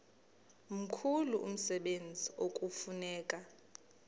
mkhulu umsebenzi ekufuneka